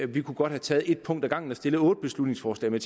vi kunne godt have taget et punkt ad gangen og stillet otte beslutningsforslag men